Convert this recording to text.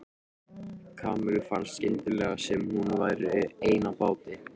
Kamillu fannst skyndilega sem hún væri ein á báti.